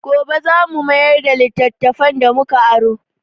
Gobe za mu mayar da littattafan da mu ka aro.